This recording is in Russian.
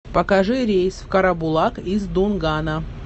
покажи рейс в карабулак из дунгана